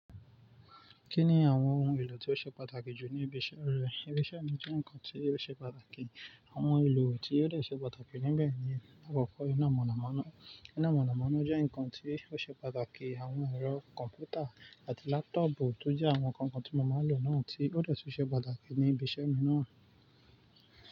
Kí ni àwọn ohun èlò tí ó ṣe pàtàkì jù ní ibi iṣẹ́ rẹ? Ibi iṣẹ́ mi jẹ́ nǹkan tí ó ṣe pàtàkì. Àwọn ohun èlò tí yóò lè ṣe pàtàkì níbẹ̀ ni àkọ́kọ́ iná mọ̀nàmọ́ná. Iná mọ̀nàmọ́ná jẹ́ nǹkan tí ó ṣe pàtàkì. Àwọn ẹ̀rọ kọ̀m̀pútà àti lápútọ̀bù tó jẹ́ àwọn ǹkan kan tí mo máa ń lò náà tí yóò lè ṣe pàtàkì ní ibi iṣẹ́ mi náà.